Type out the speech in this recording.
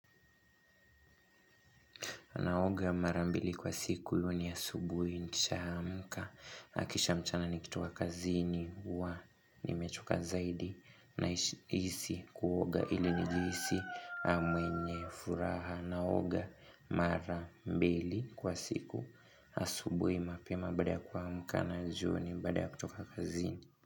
Naoga marambili kwa siku iyo ni asubui nisha amka. Na kisha mchana nikitoka kazini huwa nimechoka zaidi naishi nahisi kuoga ili nijihisi mwenye furaha. Naoga marambili kwa siku asubui mapema bada kwa amuka na jioni bada kutoka kazini.